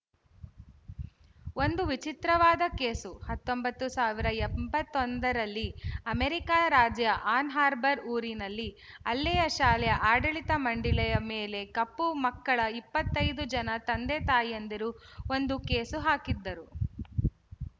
ಒಂದು ವಿಚಿತ್ರವಾದ ಕೇಸು ಹತ್ತೊಂಬತ್ತು ಸಾವಿರದ ಎಂಬತ್ತೊಂದರಲ್ಲಿ ಅಮೆರಿಕಾದ ರಾಜ್ಯ ಆನ್ ಹಾರ್ಬರ್ ಊರಿನಲ್ಲಿ ಅಲ್ಲಿಯ ಶಾಲೆಯ ಆಡಳಿತ ಮಂಡಳಿಯ ಮೇಲೆ ಕಪ್ಪು ಮಕ್ಕಳ ಇಪ್ಪತ್ತ್ ಐದು ಜನ ತಂದೆತಾಯಂದಿರು ಒಂದು ಕೇಸು ಹಾಕಿದ್ದರು